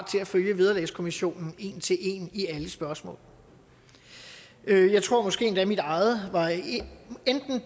til at følge vederlagskommissionen en til en i alle spørgsmål jeg tror måske endda mit eget var enten